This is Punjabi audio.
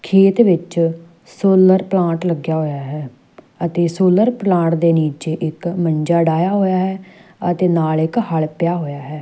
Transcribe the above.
ਖੇਤ ਵਿੱਚ ਸੋਲਰ ਪਲਾਂਟ ਲੱਗਿਆ ਹੋਇਆ ਹੈ ਸੋਲਰ ਪਲਾਂਟ ਦੇ ਨੀਚੇ ਇੱਕ ਮੰਜਾ ਡਾਇਆ ਹੋਇਆ ਹੈ ਅਤੇ ਨਾਲ ਇੱਕ ਹੱਲ ਪਿਆ ਹੋਇਆ ਹੈ।